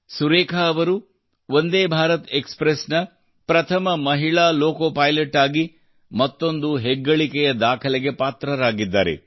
ಸುರೇಖಾ ಅವರು Vande Bharat express ನ ಪ್ರಥಮ ಮಹಿಳಾ ಲೋಕೋ ಪೈಲಟ್ ಆಗಿ ಮತ್ತೊಂದು ಹೆಗ್ಗಳಿಕೆಯ ದಾಖಲೆಗೆ ಪಾತ್ರರಾಗಿದ್ದಾರೆ